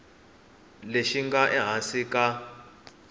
lexi xi nga ehansi ka